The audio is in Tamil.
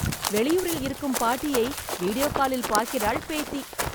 வெளியூரில் இருக்கும் பாட்டியை வீடியோ காலில் பார்க்கிறாள் பேத்தி.